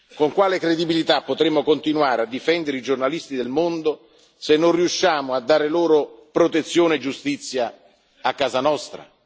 Con quale credibilità potremmo continuare a difendere i giornalisti del mondo se non riusciamo a dare loro protezione e giustizia a casa nostra?